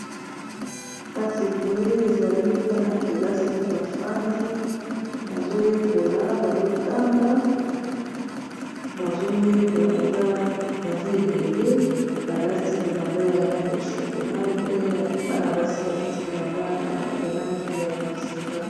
kasi boye ezali bana kelasi bafandi bazoyekola bazotanga bazoyekola baza ebele balati bilamba ya langi ya shokola pe bana basi balati bilamba ya langi ya bozinga